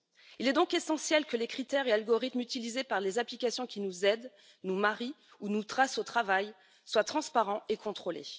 Il est donc essentiel que les critères et algorithmes utilisés par les applications qui nous aident, nous marient ou nous suivent au travail soient transparents et contrôlés.